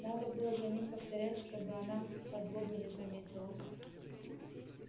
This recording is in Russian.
надо было за ним повторять чтобы она подлога не заметила